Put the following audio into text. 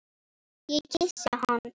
Ég kyssi hann.